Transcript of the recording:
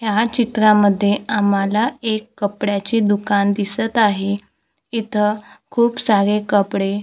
या चित्रांमध्ये आम्हाला एक कपड्याचे दुकान दिसत आहे इथं खूप सारे कपडे--